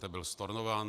Ten byl stornován?